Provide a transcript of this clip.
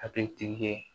Hakili tigi ye